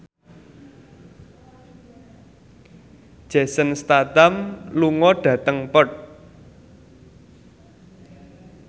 Jason Statham lunga dhateng Perth